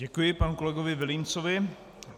Děkuji panu kolegovi Vilímcovi.